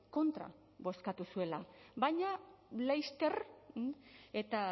kontra bozkatu zuela baina laster eta